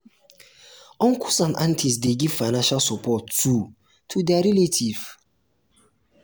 uncles and aunties de give financial support too to their relative